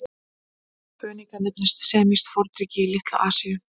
Fönikía nefndist semískt fornríki í Litlu-Asíu.